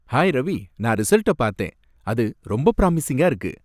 Hi Ravi! நான் ரிசல்ட்ட பார்த்தேன். அது ரொம்ப ப்ராமிசிங்கா இருக்கு.